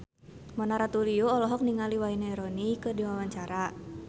Mona Ratuliu olohok ningali Wayne Rooney keur diwawancara